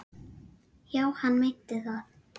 Já, hann meinti það.